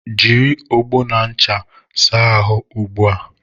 Jịrị ọgbọ na ncha saa ahụ gị ugbua!